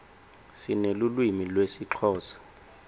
sinelulwimi lesixhosa